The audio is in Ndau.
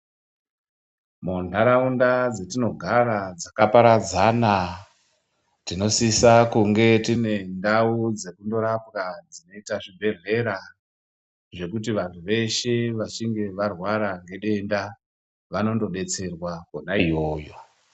Mundaraunda dzatinogara dzakaparadzana tinosisa kunge tine ndau dzekuzorapwa dzinoitwa dzinoita zvibhedhlera zvekuti vantu veshe vachinge varwara nedenda vanondodetserwa Kona iyoyo.